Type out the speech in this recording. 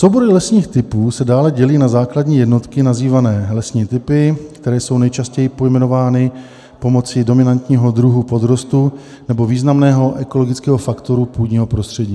Soubory lesních typů se dále dělí na základní jednotky nazývané lesní typy, které jsou nejčastěji pojmenovány pomocí dominantního druhu podrostu nebo významného ekologického faktoru půdního prostředí.